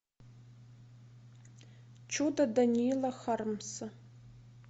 чудо даниила хармса